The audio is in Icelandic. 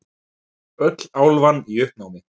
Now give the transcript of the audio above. Öll álfan í uppnámi.